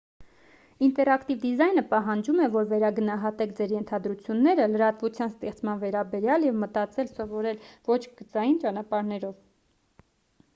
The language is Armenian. ինտերակտիվ դիզայնը պահանջում է որ վերագնահատեք ձեր ենթադրությունները լրատվության ստեղծման վերաբերյալ և մտածել սովորեք ոչ գծային ճանապարհներով